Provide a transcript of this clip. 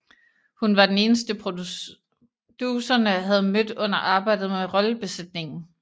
Hun var den eneste producerne havde mødt under arbejdet med rollebesætningen